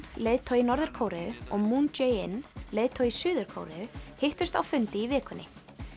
leiðtogi Norður Kóreu og Moon Jae in leiðtogi Suður Kóreu hittust á fundi í vikunni